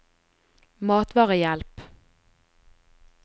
matvarehjelp